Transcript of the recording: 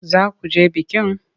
Za ku je bikin?